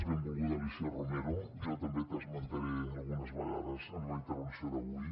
benvolguda alícia romero jo també t’esmentaré algunes vegades en la intervenció d’avui